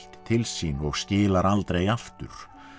til sín og skilar aldrei aftur